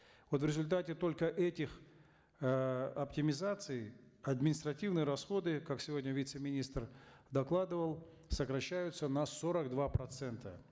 вот в результате только этих э оптимизаций административные расходы как сегодня вице министр докладывал сокращаются на сорок два процента